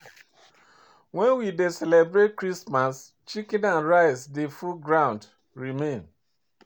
When we dey celebrate Christmas chicken and rice dey full ground remain